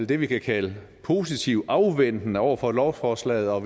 det vi kan kalde positivt afventende over for lovforslaget og